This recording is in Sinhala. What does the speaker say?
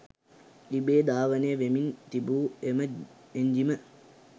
ඉබේ ධාවනය වෙමින් තිබූ එම එංජිම